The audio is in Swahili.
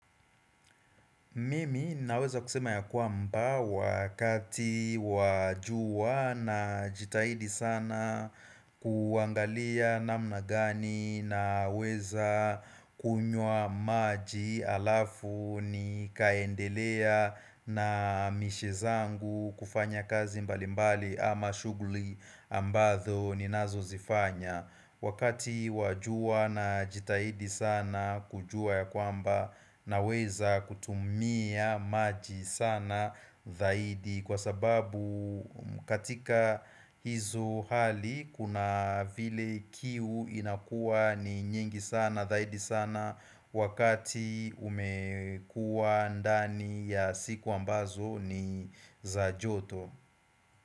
Mimi naweza kusema ya kwamba wakati wa jua najitahidi sana kuangalia namna gani naweza kunywa maji alafu nikaendelea na mishe zangu kufanya kazi mbalimbali ama shughuli ambazo ninazozifanya Wakati wa jua najitahidi sana kujua ya kwamba naweza kutumia maji sana zaidi Kwa sababu katika hizo hali kuna vile kiu inakuwa ni nyingi sana zaidi sana Wakati umekuwa ndani ya siku ambazo ni za joto.